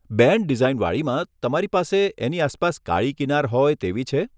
Band design વાળીમાં, તમારી પાસે એની આસપાસ કાળી કિનાર હોય તેવી છે?